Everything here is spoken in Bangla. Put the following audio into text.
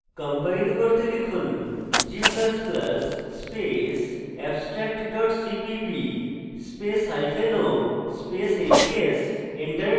compile করতে লিখুন g ++ space abstract dot cpp স্পেসo স্পেস abs